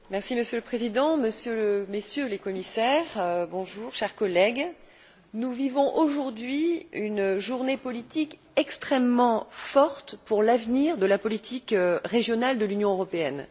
Monsieur le Président, Messieurs les Commissaires, chers collègues, nous vivons aujourd'hui une journée politique extrêmement forte pour l'avenir de la politique régionale de l'Union européenne.